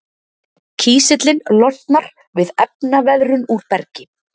kísillinn losnar við efnaveðrun úr bergi